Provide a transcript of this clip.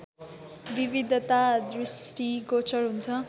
विविधता दृष्टिगोचर हुन्छ